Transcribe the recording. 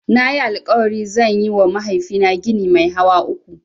Nayi alƙawarin zan yiwa mahaifina gini mai hawa uku.